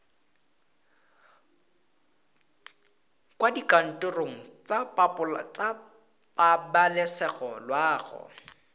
kwa dikantorong tsa pabalesego loago